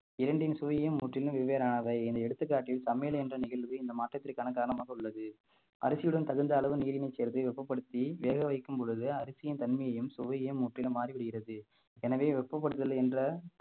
இரண்டின் சுவையும் முற்றிலும் வெவ்வேறானவை இந்த எடுத்துக்காட்டில் சமையல் என்ற நிகழ்வு இந்த மாற்றத்திற்கான காரணமாக உள்ளது அரிசியுடன் தகுந்த அளவு நீரினைச் சேர்த்து வெப்பப்படுத்தி வேக வைக்கும் பொழுது அரிசியின் தன்மையையும் சுவையும் முற்றிலும் மாறிவிடுகிறது எனவே வெப்பப்படுதல் என்ற